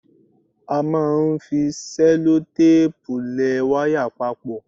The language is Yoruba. A máa ń fi sẹ́lótéèpù lẹ wáyà papọ̀.